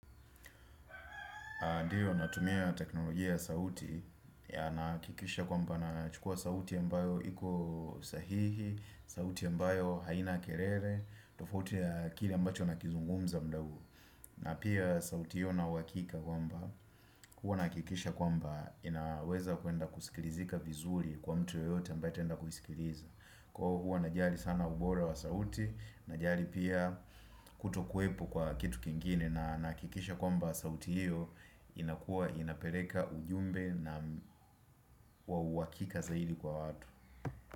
Ndio natumia teknolojia ya sauti ya nahakikisha kwamba nachukua sauti ambayo iko sahihi, sauti ambayo haina kelele, tofauti ya kile ambacho nakizungumza muda huu. Na pia sauti hiyo ninauhakika kwamba, huwa nahakikisha kwamba inaweza kuenda kusikilizika vizuri kwa mtu yeyote ambaye ataenda kuisikiliza. Kwao huwa najali sana ubora wa sauti najali pia kutokuwepo kwa kitu kingine na nahakikisha kwamba sauti hiyo inakuwa inapeleka ujumbe na kwa uhakika zaidi kwa watu.